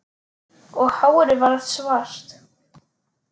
Og hárið varð svart